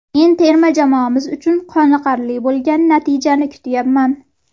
Men terma jamoamiz uchun qoniqarli bo‘lgan natijani kutyapman.